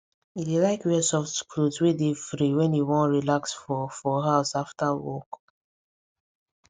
e dey like wear soft cloth wey dey free when e want relax for for house after work